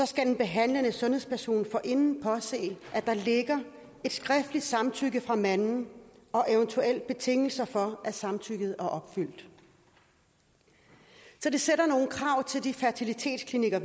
skal den behandlende sundhedsperson forinden påse at der ligger et skriftligt samtykke fra manden og eventuelle betingelser for at samtykket er opfyldt så det sætter nogle krav til de fertilitetsklinikker